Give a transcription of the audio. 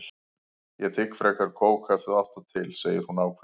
Ég þigg frekar kók ef þú átt það til, segir hún ákveðin.